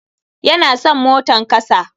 Ya na son motan kasa.